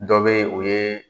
Dɔ bɛ o ye,